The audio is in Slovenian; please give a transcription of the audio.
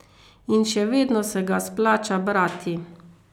In še vedno se ga splača brati.